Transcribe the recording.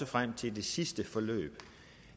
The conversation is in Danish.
frem til det sidste forløb